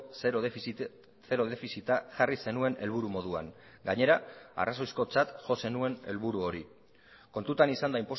zero defizita jarri zenuen helburu moduan gainera arrazoizkotzat jo zenuen helburu hori kontutan izanda